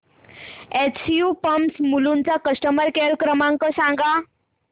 SU pumps Mulund चा customer care क्रमांक सांगा